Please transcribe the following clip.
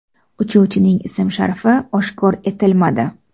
Uchuvchining ism-sharifi oshkor etilmadi.